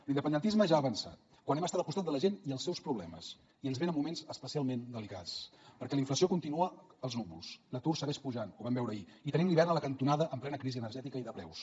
l’independentisme ja ha avançat quan hem estat al costat de la gent i els seus problemes i ens venen moments especialment delicats perquè la inflació continua als núvols l’atur segueix pujant ho vam veure ahir i tenim l’hivern a la cantonada en plena crisi energètica i de preus